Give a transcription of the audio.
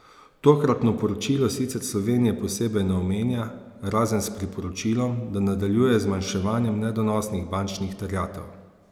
Tokratno poročilo sicer Slovenije posebej ne omenja razen s priporočilom, da nadaljuje z zmanjševanjem nedonosnih bančnih terjatev.